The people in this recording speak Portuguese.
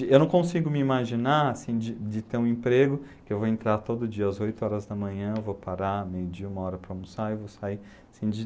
E eu não consigo me imaginar assim de de ter um emprego que eu vou entrar todo dia às oito horas da manhã, vou parar, meio dia, uma hora para almoçar e vou sair, assim de